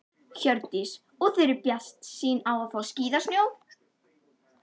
Hjördís: Og eruð þið bjartsýn á að fá skíðasnjó?